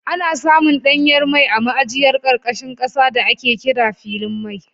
Ana samun danyen mai a ma'ajiyar karkashin kasa da ake kira filin mai